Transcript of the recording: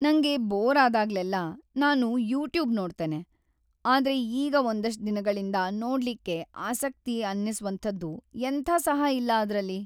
ನಂಗೆ ಬೋರ್‌ ಆದಾಗ್ಲೆಲ್ಲ ನಾನು ಯೂಟ್ಯೂಬ್ ನೋಡ್ತೇನೆ. ಆದ್ರೆ ಈಗ ಒಂದಷ್ಟ್ ದಿನಗಳಿಂದ ನೋಡ್ಲಿಕ್ಕೆ ಆಸಕ್ತಿ ಅನ್ನಿಸ್ವಂಥದ್ದು ಎಂಥ ಸಹ ಇಲ್ಲ ಅದ್ರಲ್ಲಿ.